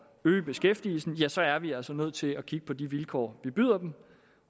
øge beskæftigelsen så er vi altså nødt til at kigge på de vilkår vi byder dem